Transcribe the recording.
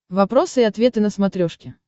вопросы и ответы на смотрешке